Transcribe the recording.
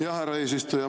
Jah, härra eesistuja!